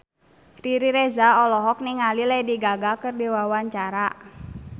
Riri Reza olohok ningali Lady Gaga keur diwawancara